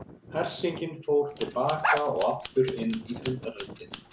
Hersingin fór til baka og aftur inn í fundarherbergið.